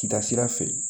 Kida sira fɛ